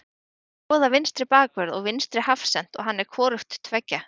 Við erum að skoða vinstri bakvörð og vinstri hafsent og hann er hvorugt tveggja.